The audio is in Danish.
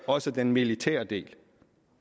også den militære del